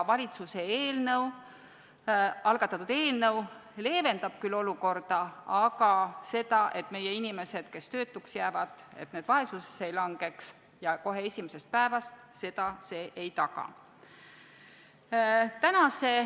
Valitsuse algatatud eelnõu küll leevendab olukorda, aga seda, et meie inimesed, kes jäävad töötuks, kohe esimesest päevast vaesusesse ei langeks, see ei taga.